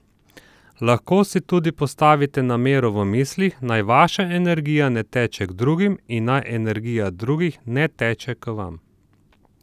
Lahko si tudi postavite namero v mislih, naj vaša energija ne teče k drugim in naj energija drugih ne teče k vam.